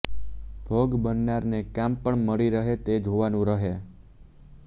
ભોગ બનનારને કામ પણ મળી રહે તે જોવાનું રહે